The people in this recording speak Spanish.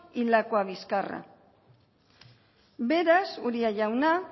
y lakuabizkarra beraz uria jauna